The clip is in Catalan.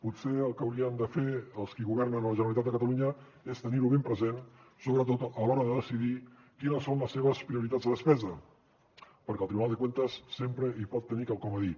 potser el que haurien de fer els qui governen la generalitat de catalunya és tenir ho ben present sobretot a l’hora de decidir quines són les seves prioritats de despesa perquè el tribunal de cuentas sempre hi pot tenir quelcom a dir